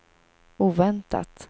oväntat